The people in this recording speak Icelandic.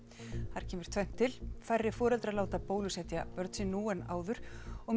þar kemur tvennt til færri foreldrar láta bólusetja börn sín nú en áður og